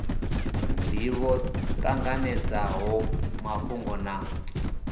ndivho vha ṱanganedzaho mafhungo na